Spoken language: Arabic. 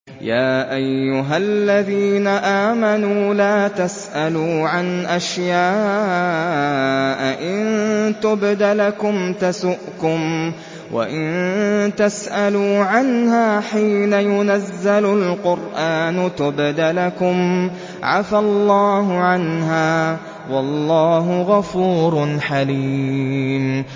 يَا أَيُّهَا الَّذِينَ آمَنُوا لَا تَسْأَلُوا عَنْ أَشْيَاءَ إِن تُبْدَ لَكُمْ تَسُؤْكُمْ وَإِن تَسْأَلُوا عَنْهَا حِينَ يُنَزَّلُ الْقُرْآنُ تُبْدَ لَكُمْ عَفَا اللَّهُ عَنْهَا ۗ وَاللَّهُ غَفُورٌ حَلِيمٌ